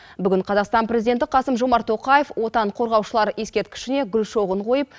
қазақстан президенті қасым жомарт тоқаев отан қорғаушылар ескерткішіне гүл шоғын қойып